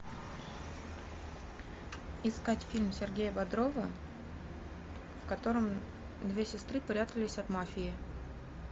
искать фильм сергея бодрова в котором две сестры прятались от мафии